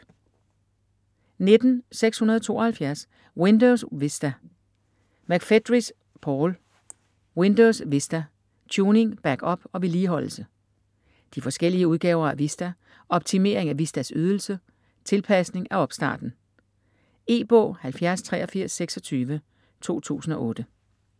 19.672 Windows Vista McFedries, Paul: Windows vista: tuning, backup og vedligeholdelse De forskellige udgaver af Vista, Optimering af Vistas Ydelse, Tilpasning af opstarten. E-bog 708326 2008.